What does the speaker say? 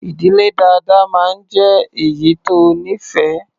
Ì̀dílé dáadáa máa ń jé èyí tó nífẹ̀ẹ́.